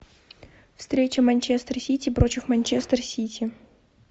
встреча манчестер сити против манчестер сити